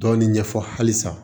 Dɔɔnin ɲɛfɔ halisa